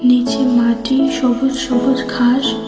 নিচে মাটি সবুজ সবুজ ঘাস।